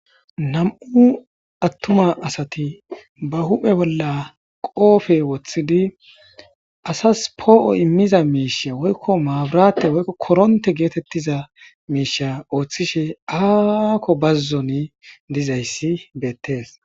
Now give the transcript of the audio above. nam7u attuma asati ba huphe bolla qoofe woththidi asas poo7o immiza miisha woykko maaburate woykko koronte geetettiza miisha ooththishe aakko bazzon dizayssi beettees